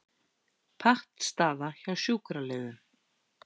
Pattstaða hjá sjúkraliðum